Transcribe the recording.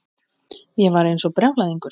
Ég var eins og brjálæðingur.